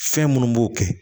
Fɛn minnu b'o kɛ